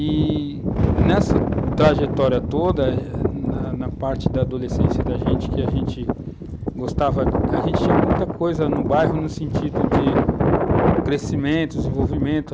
E nessa trajetória toda, na na parte da adolescência da gente, que a gente gostava, a gente tinha muita coisa no bairro no sentido de crescimento, desenvolvimento.